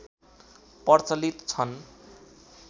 प्रचलित छन्